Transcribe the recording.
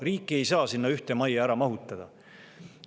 Riiki ei saa sinna ühte majja ära mahutada.